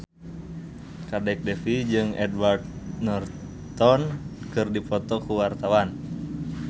Kadek Devi jeung Edward Norton keur dipoto ku wartawan